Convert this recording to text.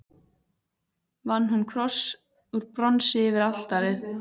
Vann hún kross úr bronsi yfir altarið.